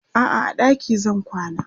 a'a a ɗaki zan kwana